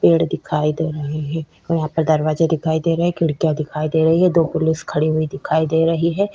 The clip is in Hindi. पेड़ दिखाई दे रहे है यहाँ पे दरवाजा दिखाई दे रहे है खिड़कियाँ दिखाई दे रही है दो पोलिस खडी हुई दिखाई दे रही हे।